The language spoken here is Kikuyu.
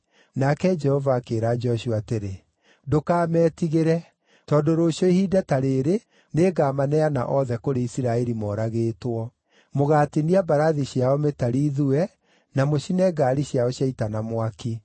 Nake Jehova akĩĩra Joshua atĩrĩ, “Ndũkametigĩre, tondũ rũciũ ihinda ta rĩĩrĩ nĩngamaneana othe kũrĩ Isiraeli, moragĩtwo. Mũgaatinia mbarathi ciao mĩtari ithue, na mũcine ngaari ciao cia ita na mwaki.”